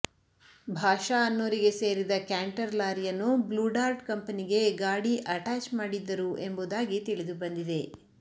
ಭಾಷಾ ಅನ್ನೊರಿಗೆ ಸೇರಿದ ಕ್ಯಾಂಟರ್ ಲಾರಿಯನ್ನು ಬ್ಲೂಡಾರ್ಟ್ ಕಂಪನಿಗೆ ಗಾಡಿ ಅಟೆಚ್ ಮಾಡಿದ್ದರು ಎಂಬುವುದಾಗಿ ತಿಳಿದುಬಂದಿದೆ